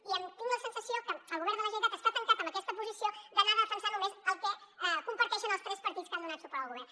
i tinc la sensació que el govern de la generalitat està tancat en aquesta posició d’anar a defensar només el que comparteixen els tres partits que han donat suport al govern